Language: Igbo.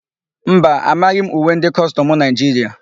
Mba, amaghị m uwe ndị kọstọmụ Naịjiria.